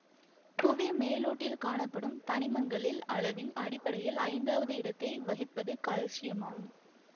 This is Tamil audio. புவி மேலோட்டில் காணப்படும் தனிமங்களில் அளவின் அடிப்படையில் ஐந்தாவது இடத்தை வகிப்பது கால்சியமாகும்